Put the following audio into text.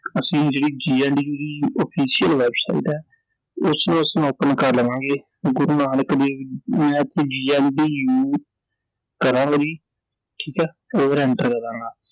ਅਸੀਂ ਜਿਹੜੀ GNDU ਦੀ official website ਐ ਉਸਨੂੰ ਅਸੀਂ open ਕਰ ਲਵਾਂਗੇ ਗੁਰੂ ਨਾਨਕ ਦੇਵ GNDU ਠੀਕ ਐ I enter ਕਰਨਾ